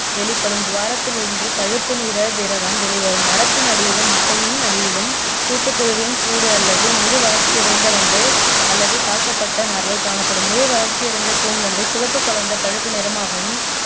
வெளிப்படும் துவாரத்திலிருந்து பழுப்பு நிற திரவம் வெளிவரும் மரத்தின் அடியிலும் மட்டையின் அடியிலும் கூட்டுப்புழுவின் கூடு அல்லது முழு வள்ர்ச்சியடைந்த வண்டு அல்லது தாக்கப்பட்ட நார்கள் காணப்படும் முழு வளர்ச்சியடைந்த கூன்வண்டு சிவப்பு கலந்த பழுப்பு நிறமாகவும்